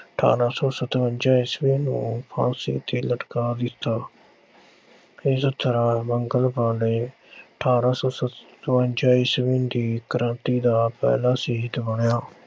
ਅਠ੍ਹਾਰਾਂ ਸੌ ਸਤਵੰਜਾ ਈਸਵੀ ਨੂੰ ਫਾਂਸੀ 'ਤੇ ਲਟਕਾ ਦਿੱਤਾ। ਇਸ ਤਰ੍ਹਾਂ ਮੰਗਲ ਪਾਂਡੇ ਅਠ੍ਹਾਰਾਂ ਸੌ ਸਤਵੰਜਾ ਈਸਵੀ ਦੀ ਕ੍ਰਾਂਤੀ ਦਾ ਪਹਿਲਾ ਸ਼ਹੀਦ ਬਣਿਆ।